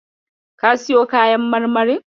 Ka siyo kayan marmarin.